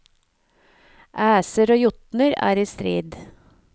Æser og jotner er i strid.